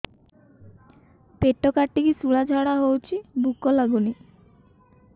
ପେଟ କାଟିକି ଶୂଳା ଝାଡ଼ା ହଉଚି ଭୁକ ଲାଗୁନି